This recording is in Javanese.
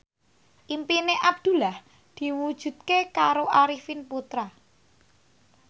impine Abdullah diwujudke karo Arifin Putra